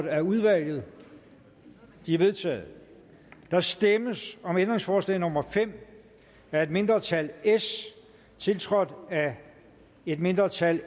af udvalget de er vedtaget der stemmes om ændringsforslag nummer fem af et mindretal tiltrådt af et mindretal